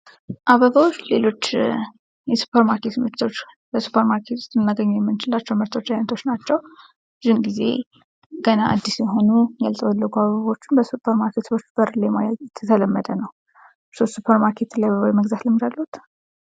አበባወች ሌሎች የሱፐር ማርኬት ምርቶች በሱፐር ማርኬት ልናገኘው የምንችላቸው ምርቶች አይነቶች ናቸው። ብዙውን ጊዜ ገና አድስ የሆኑ ያልጠወለጉ አበቦችን በሱፐር ማርኬት በር ላይ ማየት የተለመደ ነው። እርስዎ ሱፐር ማርኬትን የመግዛት ልምድ አለወት?